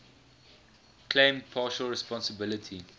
claimed partial responsibility